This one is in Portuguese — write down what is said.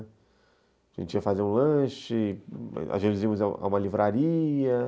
A gente ia fazer um lanche, às vezes íamos a uma livraria.